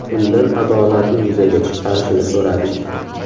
Undan adolatni yuzaga chiqarishini so‘radik.